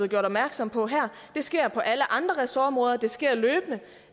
gjort opmærksom på her det sker på alle andre ressortområder det sker løbende